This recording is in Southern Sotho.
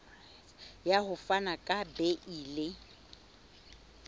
ya ho fana ka beile